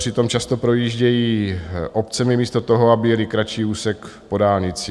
Přitom často projíždějí obcemi místo toho, aby jeli kratší úsek po dálnici.